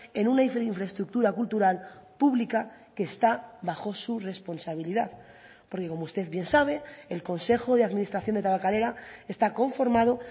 en una infraestructura cultural pública que está bajo su responsabilidad porque como usted bien sabe el consejo de administración de tabakalera está conformado